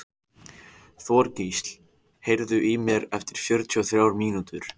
Þorgísl, heyrðu í mér eftir fjörutíu og þrjár mínútur.